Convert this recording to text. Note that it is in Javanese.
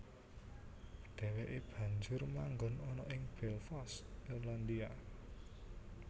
Dheweke banjur manggon ana ing Belfast Irlandia